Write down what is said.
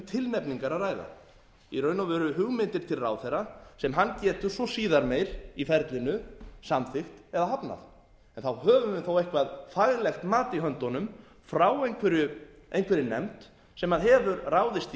tilnefningar að ræða í raun og veru hugmyndir til ráðherra sem hann getur svo síðar meir í ferlinu samþykkt eða hafnað en þá höfum við þó eitthvað faglegt mat í höndunum frá einhverri nefnd sem hefur ráðist í